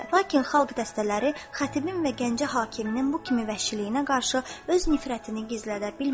Lakin xalq dəstələri xətibin və Gəncə hakiminin bu kimi vəhşiliyinə qarşı öz nifrətini gizlədə bilmədi.